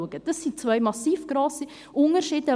Dies sind massive Unterschiede.